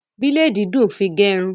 Bílèdì dùn fi gẹrun.